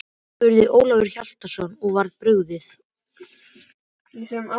spurði Ólafur Hjaltason og var brugðið.